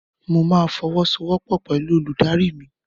Mo ma fọwọ́sowọ́pọ̀ pẹ̀lú olùdarí mi.